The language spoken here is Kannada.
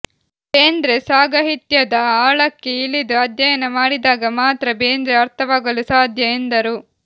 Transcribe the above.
ಬೇಂದ್ರೆ ಸಾಗಹಿತ್ಯದ ಆಳಕ್ಕೆ ಇಳಿದು ಅಧ್ಯಯನ ಮಾಡಿದಾಗ ಮಾತ್ರ ಬೇಂದ್ರೆ ಅರ್ಥವಾಗಲು ಸಾಧ್ಯ ಎಂದರು